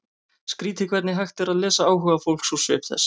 Skrýtið hvernig hægt er að lesa áhuga fólks úr svip þess.